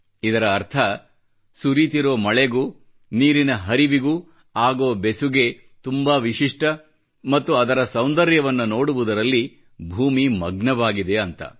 ಇದರ ಅರ್ಥ ಸುರಿತಿರೋ ಮಳೆಗೂ ನೀರಿನ ಹರಿವಿಗೂ ಆಗೋ ಬೆಸುಗೆ ತುಂಬಾ ವಿಶಿಷ್ಟ ಮತ್ತು ಅದರ ಸೌಂದರ್ಯ ವನ್ನ ನೋಡುವುದರಲ್ಲಿ ಭೂಮಿ ಮಗ್ನವಾಗಿದೆ ಅಂತ